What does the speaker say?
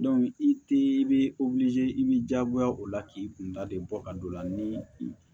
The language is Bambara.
i te i bɛ i b'i jagoya o la k'i kunda de bɔ a don la ni i